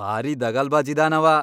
ಭಾರೀ ದಗಲ್ಬಾಜ್ ಇದಾನವ.